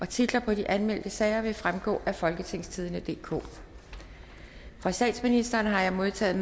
titler på de anmeldte sager vil fremgå af folketingstidende DK fra statsministeren har jeg modtaget